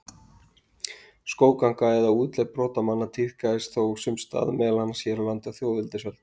Skógganga eða útlegð brotamanna tíðkaðist þó sums staðar, meðal annars hér á landi á þjóðveldisöld.